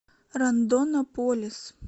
рондонополис